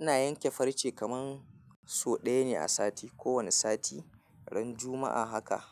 Ina yanke farce kamar sau ɗaya ne a sati. Ko wani sati ran Juma'a haka